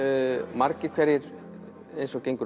margir eins og gengur